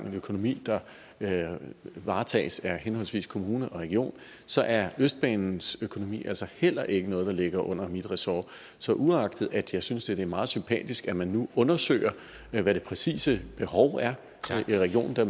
en økonomi der varetages af henholdsvis kommune og region så er østbanens økonomi altså heller ikke noget der ligger under mit ressort så uagtet at jeg synes at det da er meget sympatisk at man nu undersøger hvad det præcise behov er i regionen det